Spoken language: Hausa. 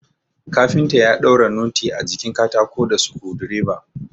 Kafinta ya daura noti a jikin katako da sukudireba